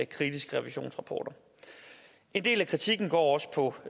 kritiske revisionsrapporter en del af kritikken går også på